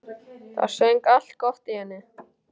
Það söng allt gott í henni.